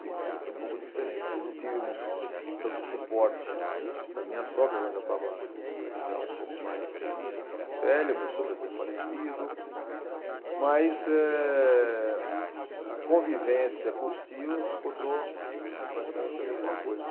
A segunda filha ser um pouco diferente. Eu não tive tanto suporte da minha sogra, ela já estava, um aí já um pouco mais velha, meu sogro já tinha falecido, mas eh, a convivência com os tios continuou praticamente a mesma coisa.